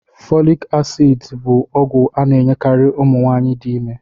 Folic acid bu ogwu ana enyekari umunwaanyi di ime